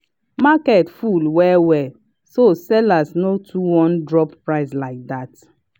market full well well so sellers no too wan drop price like that.